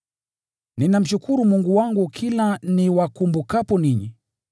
Ninamshukuru Mungu wangu kila niwakumbukapo ninyi.